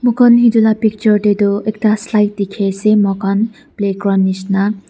moi kha etu laga picture te tu ekta slide dekhi ase moi khan playground nisna.